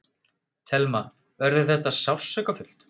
Telma: Verður þetta sársaukafullt?